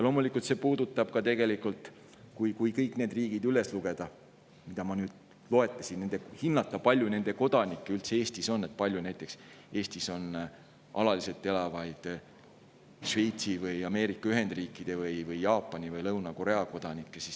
Loomulikult, kõikide nende riikide puhul, mida ma loetlesin, tuleks hinnata, kui palju nende kodanikke üldse Eestis on, kui palju Eestis näiteks alaliselt elab Šveitsi või Ameerika Ühendriikide või Jaapani või Lõuna-Korea kodanikke.